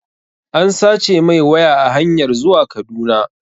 An sace mai waya a hanyar zuwa Kaduna